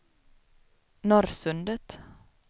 Norrsundet